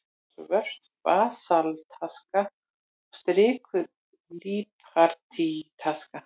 Svört basaltaska og strikuð líparítaska.